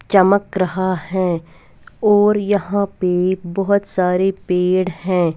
चमक रहा है और यहाँ पे बहुत सारे पेड़ हैं।